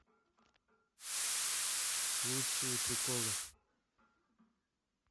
лучшие приколы